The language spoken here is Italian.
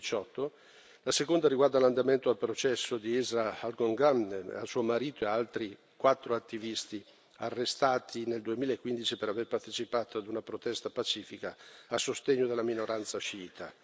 2018. La seconda riguarda l'andamento del processo di Israa Al Ghomgham, suo marito, e altri quattro attivisti arrestati nel 2015 per aver partecipato ad una protesta pacifica a sostegno della minoranza sciita.